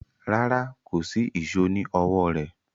Rárá, kò sí ìṣó ní ọwọ́ rẹ̀